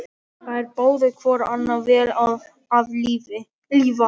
Þeir báðu hvor annan vel að lifa.